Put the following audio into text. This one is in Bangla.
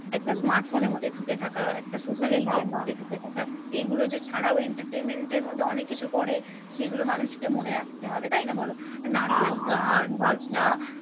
একটা smartphone এর মধ্যে ঢুকে থাকা একটা social এর মধ্যে ঢুকে থাকা এইগুলো যে ছাড়াও entertainment এর মধ্যে অনেককিছু পরে যেইগুলো মানুষকে মনে রাখতে হবে তাই না বলো নাটক, গান বাজনা